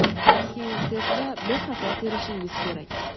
keyin tez va bexato terishingiz kerak.